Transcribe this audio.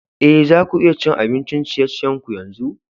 Eh, za ku iya cin abin ciye-ciyen ku yanzu?